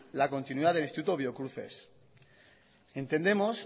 la continuidad del instituto biocruces entendemos